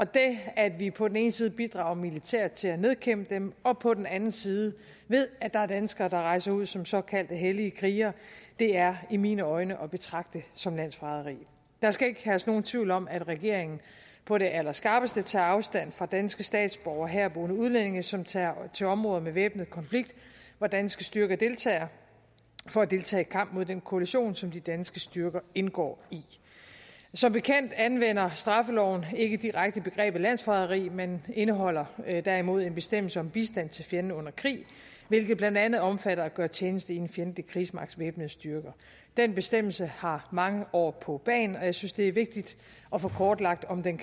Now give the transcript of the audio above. det at vi på den ene side bidrager militært til at nedkæmpe dem og på den anden side ved at der er danskere der rejser ud som såkaldte hellige krigere er i mine øjne at betragte som landsforræderi der skal ikke herske nogen tvivl om at regeringen på det allerskarpeste tager afstand fra danske statsborgere herboende udlændinge som tager til områder med væbnet konflikt hvor danske styrker deltager for at deltage i kampen mod den koalition som de danske styrker indgår i som bekendt anvender straffeloven ikke direkte begrebet landsforræderi men indeholder derimod en bestemmelse om bistand til fjenden under krig hvilket blandt andet omfatter at gøre tjeneste i en fjendtlig krigsmagts væbnede styrker den bestemmelse har mange år på bagen og jeg synes det er vigtigt at få kortlagt om den